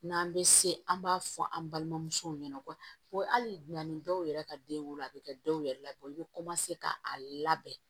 N'an bɛ se an b'a fɔ an balimamusow ɲɛna ko hali na ni dɔw yɛrɛ ka den wolo a bɛ kɛ dɔw yɛrɛ la bɔ i bɛ k'a labɛn